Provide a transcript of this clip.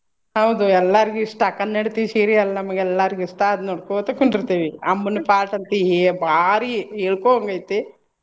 ಹೌದು ಎಲ್ಲಾರ್ಗು ಇಷ್ಟ ಕನ್ನಡತಿ serial ನಮ್ಗೆಲ್ಲಾರ್ಗು ಇಷ್ಟ ಅದ್ ನೋಡ್ಕೊತ ಕುಂಡುರ್ತೇವಿ ಅಮ್ಮನ part ಅಂತು ಏ ಭಾರಿ ಹೇಳ್ಕೊ ಹಂಗ ಐತಿ.